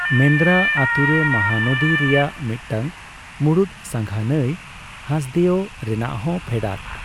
ᱢᱮᱱᱫᱨᱟ ᱟᱛᱳᱨᱮ ᱢᱚᱦᱟᱱᱚᱫᱤ ᱨᱮᱭᱟᱜ ᱢᱤᱫᱴᱟᱝ ᱢᱩᱬᱩᱫ ᱥᱟᱸᱜᱷᱟ ᱱᱟᱹᱭ ᱦᱟᱥᱫᱮᱳ ᱨᱮᱭᱟᱜ ᱦᱚᱸ ᱯᱷᱮᱰᱟᱛ ᱾